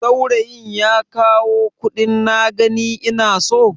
Saurayin ya kawo kuɗin na gani ina so?